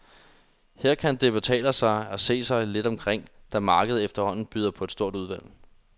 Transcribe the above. Her kan det betale sig at se sig lidt omkring, da markedet efterhånden byder på et stort udvalg.